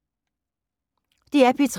DR P3